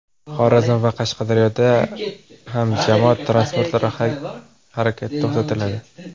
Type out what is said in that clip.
Xorazm va Qashqadaryoda ham jamoat transportlari harakati to‘xtatiladi.